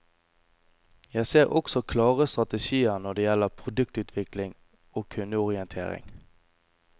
Jeg ser også klare strategier når det gjelder produktutvikling og kundeorientering.